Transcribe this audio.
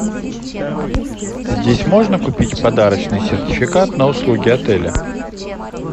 здесь можно купить подарочный сертификат на услуги отеля